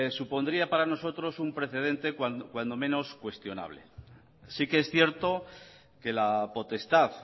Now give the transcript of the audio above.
supondría para nosotros un precedente cuando menos cuestionable sí que es cierto que la potestad